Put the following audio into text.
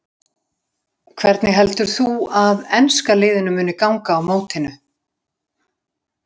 Hvernig heldur þú að enska liðinu muni ganga á mótinu?